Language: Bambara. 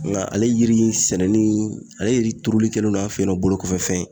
Nga ale yiri ye sɛnɛni ni ale yiri turuli kɛlen no an fe yen nɔ bolokɔfɛfɛn ye